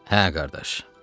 Hə, qardaş.